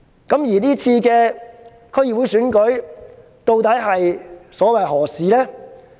這次區議會選舉究竟所為何事？